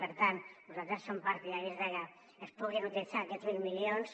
per tant nosaltres som partidaris que es puguin utilitzar aquests mil milions